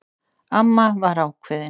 Amma var ákveðin.